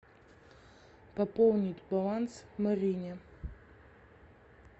пополнить баланс марине